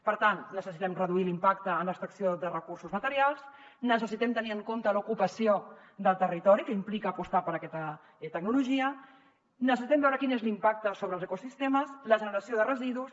per tant necessitem reduir l’impacte en l’extracció de recursos materials necessitem tenir en compte l’ocupació del territori que implica apostar per aquesta tecnologia necessitem veure quin és l’impacte sobre els ecosistemes la generació de residus